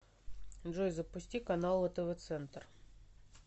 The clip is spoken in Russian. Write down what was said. джой запусти каналы тв центр